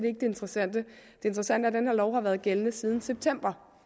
ikke det interessante det interessante den her lov har været gældende siden september